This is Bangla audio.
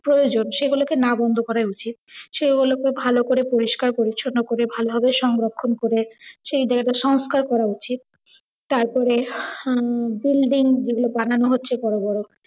প্রয়োজন সেগুলোকে না বন্ধ করায় উছিত। সেগুলো কে ভালো করে পরিস্কার পরিছন্ন করে, ভালো ভাবে সংরক্ষণ করে সেই জাইগা সংস্কার করা উচিৎ। তারপরে আহ building গুলো বানানো হচ্ছে বড় বড়